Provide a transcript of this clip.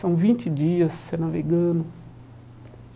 São vinte dias você navegando.